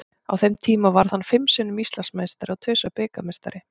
Á þeim tíma varð hann fimm sinnum Íslandsmeistari og tvisvar bikarmeistari.